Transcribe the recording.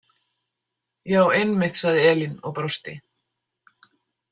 Já, einmitt, sagði Elín og brosti.